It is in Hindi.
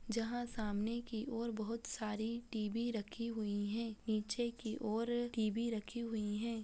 जहाँ सामने की और बहुत सारी टी.वी. रखी हुई हैं नीचे की और टी.वी. रखी हुई हैं।